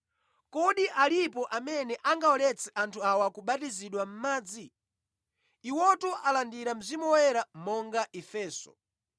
“Kodi alipo amene angawaletse anthu awa kubatizidwa mʼmadzi? Iwotu alandira Mzimu Woyera monga ifenso.”